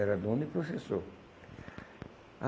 Era dono e professor.